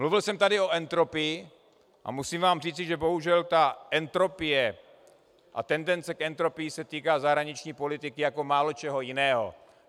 Mluvil jsem tady o entropii a musím vám říci, že bohužel ta entropie a tendence k entropii se týká zahraniční politiky jako málo čeho jiného.